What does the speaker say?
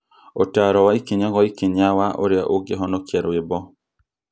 Ũtaaro wa ikinya kwa ikinya wa ũrĩa ũngĩhonokia rwĩmbo